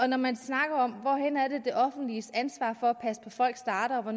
når man snakker om hvor det offentliges ansvar for at passe på folk starter og hvor